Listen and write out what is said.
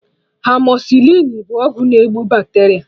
Amọzịsịlịn bụ ọgwụ na-egbu bakteria